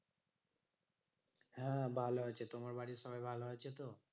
হ্যাঁ হ্যাঁ ভালো আছে। তোমার বাড়ির সবাই ভালো আছে তো?